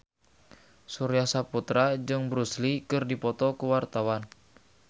Surya Saputra jeung Bruce Lee keur dipoto ku wartawan